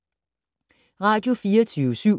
Radio24syv